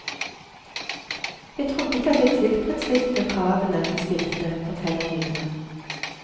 Jeg trodde ikke at jeg tilfredsstilte kravene de stilte, forteller hun videre.